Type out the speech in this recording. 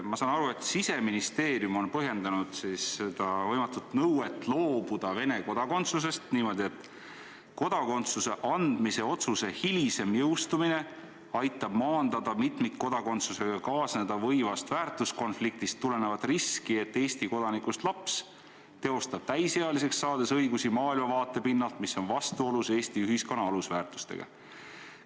Ma saan aru, et Siseministeerium on põhjendanud seda võimatut nõuet loobuda Vene kodakondsusest niimoodi, et kodakondsuse andmise otsuse hilisem jõustumine aitab maandada mitmikkodakondsusega kaasneda võivast väärtuskonfliktist tulenevat riski, et Eesti kodanikust laps teostab täisealiseks saades oma õigusi maailmavaate pinnalt, mis on vastuolus Eesti ühiskonna alusväärtustega.